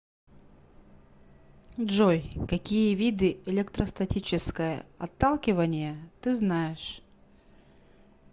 джой какие виды электростатическое отталкивание ты знаешь